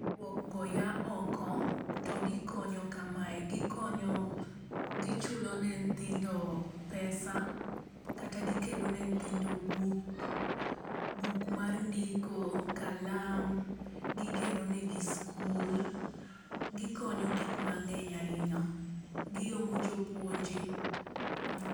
Rwok go yaa oko to gikonyo kamae, gichulo ne nyithindo pesa, kata gikelone nyithindo buk, buk mar ndiko, kalam, gigero negi skul, gikonyo gik mangeny ahinya, giomo jopuonje